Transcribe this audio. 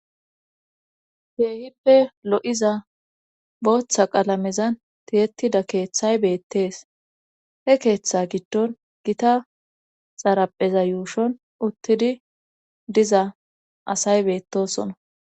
Teehippe lo7iza booththa qalamezan tiyettida keeththay beettees, he keeththa giddon gita xarapheza yuushon uttidi diza asay beettosona.